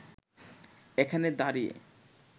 এখানে দাঁড়িয়ে